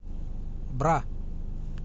бра